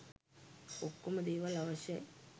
ඔක්කොම දේවල් අවශ්‍යයි.